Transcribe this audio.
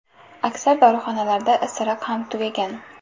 Aksar dorixonalarda isiriq ham tugagan.